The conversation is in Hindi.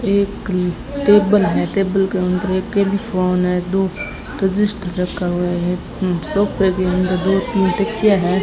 एक टेबल है टेबल के अंदर एक टेलीफोन है दो रजिस्टर रखा हुआ है उम् सोफे भी अंदर दो तीन तकिया है।